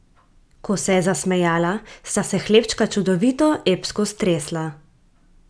Ko se je zasmejala, sta se hlebčka čudovito, epsko stresla.